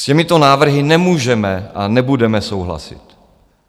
S těmito návrhy nemůžeme a nebudeme souhlasit.